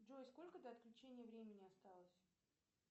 джой сколько до отключения времени осталось